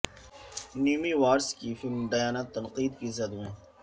Naomi Watts کی film Diana تنقید کی زد میں